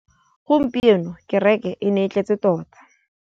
Gompieno kêrêkê e ne e tletse tota.